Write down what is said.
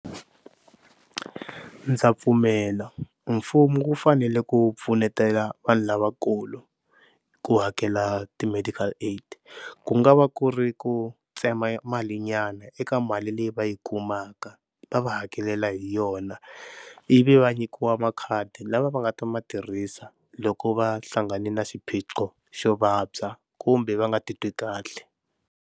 Ndza pfumela mfumo wu fanele ku pfunetana vanhu lavakulu ku hakela ti-medical aid, ku nga va ku ri ku tsema malinyana eka ka mali leyi va yi kumaka va va hakelela hi yona, ivi va nyikiwa makhadi lava va nga ta ma tirhisa loko va hlangane na xiphiqo xo vabya kumbe va nga titwi kahle.